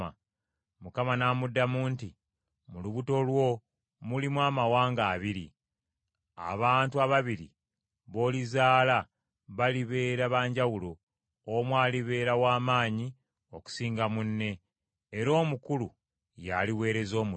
Mukama n’amuddamu nti, “Mu lubuto lwo mulimu amawanga abiri, abantu ababiri b’olizaala balibeera ba njawulo, omu alibeera w’amaanyi okusinga munne, era omukulu yaaliweereza omuto.”